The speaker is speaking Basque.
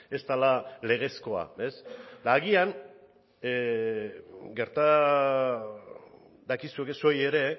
ez dela legezkoa ez eta agian gerta dakizuke zuei ere